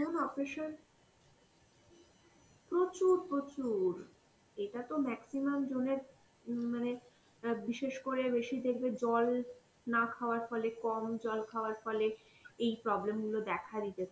যেমন occasion, প্রচুর প্রচুর এটাতো maximum জনের উম মানে অ্যাঁ বিশেষ করে বেশি দেখবে জল না খাওয়ার ফলে, কম জল খাওয়ার ফলে এই problem গুলো দেখা দিতে থাকে,